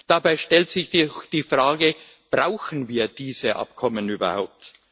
Dabei stellt sich die Frage Brauchen wir diese Abkommen überhaupt?